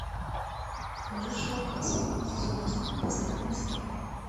покажи шоу касл сезон один последняя серия